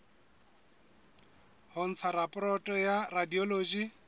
ho ntsha raporoto ya radiology